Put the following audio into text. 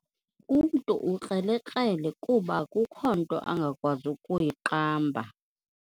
Umntu ukrelekrele kuba akukho nto angakwazi ukuyiqamba.